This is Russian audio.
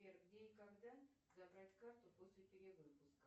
сбер где и когда забрать карту после перевыпуска